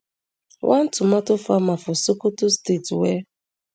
one tomato farmer for sokoto state wey